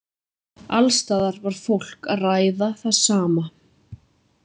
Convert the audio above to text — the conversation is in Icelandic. Alls staðar var fólk að ræða það sama.